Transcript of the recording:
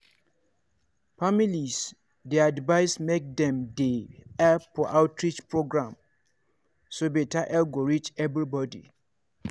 families dey advised make dem dey help for outreach programs so beta health go reach everybody.